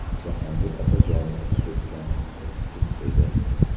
Jahongir Otajonovni o‘pgan qiz kim edi?